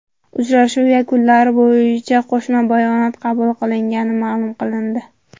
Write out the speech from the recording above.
Uchrashuv yakunlari bo‘yicha qo‘shma bayonot qabul qilingani ma’lum qilindi.